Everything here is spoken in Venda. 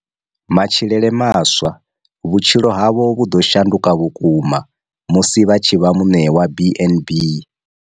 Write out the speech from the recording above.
Matshilele maswa, vhutshilo havho vhu ḓo shanduka vhukuma musi vha tshi vha muṋe wa BnB.